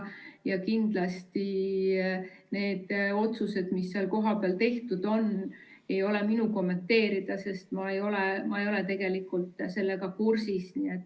Ja need otsused, mis seal kohapeal tehti, ei ole kindlasti minu kommenteerida, sest ma ei ole nendega kursis.